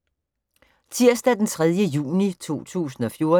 Tirsdag d. 3. juni 2014